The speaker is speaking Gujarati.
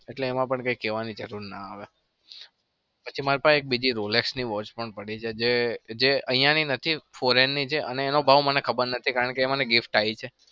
એટલે એમાં પણ કઈ કેવાની જરૂર ના આવે. પછી મારા પાહે બીજી rolex ની watch પણ પડી છે જે અહિયાંની નથી foreign ની છે અને એનો ભાવ મને ખબર નથી. કારણ કે એ એ મને gift આઈ છે.